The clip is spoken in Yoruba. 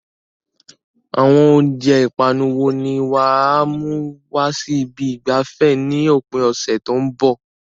Àwọn oúnjẹ ìpanu wo ni wà á mú wá sí ibi ìgbafẹ́ ní òpin ọ̀sẹ̀ tó ń bọ̀?